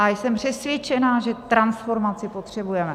A jsem přesvědčena, že transformaci potřebujeme.